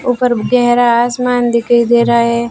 ऊपर गहरा आसमान दिखाई दे रहा है।